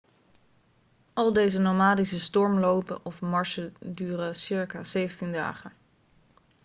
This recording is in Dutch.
al deze nomadische stormlopen of marsen duren circa 17 dagen